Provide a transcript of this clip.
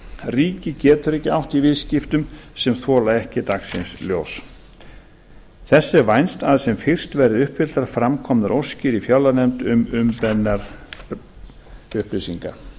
ríkið getur ekki átt í viðskiptum sem þola ekki dagsins ljós þess er vænst að sem fyrst verði uppfylltar fram komnar óskir í fjárlaganefnd um umbeðnar upplýsingar